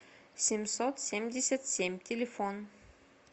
семьсот семьдесят семь телефон